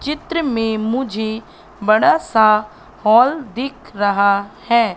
चित्र में मुझे बड़ा सा हॉल दिख रहा है।